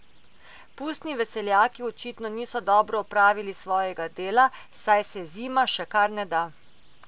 Pustni veseljaki očitno niso dobro opravili svojega dela, saj se zima še kar ne da.